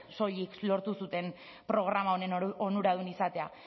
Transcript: soilik lortu zuten programa honen onuradun izatea